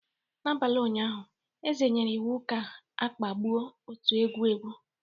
N'abalị ụnyaahụ, eze nyere iwu ka a kagbuo otu egwu egwu